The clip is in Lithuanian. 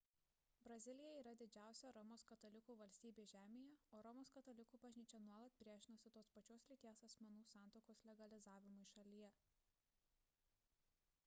brazilija yra didžiausia romos katalikų valstybė žemėje o romos katalikų bažnyčia nuolat priešinosi tos pačios lyties asmenų santuokos legalizavimui šalyje